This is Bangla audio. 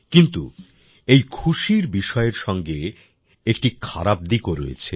কিন্তু এই খুশির বিষয়ের সঙ্গে একটি খারাপ দিকও রয়েছে